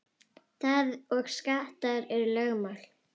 Það og skattar eru lögmál.